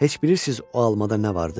Heç bilirsiz o almada nə vardı?